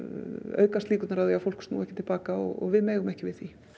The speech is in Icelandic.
aukast líkurnar á að fólk snúi ekki til baka og við megum ekki við því